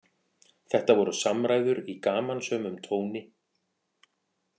Þetta voru samræður í gamansömum tóni